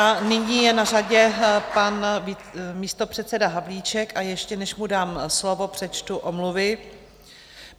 A nyní je na řadě pan místopředseda Havlíček, a ještě než mu dám slovo, přečtu omluvy.